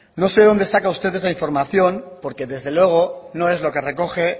no sé de dónde saca usted esa información porque desde luego no es lo que recoge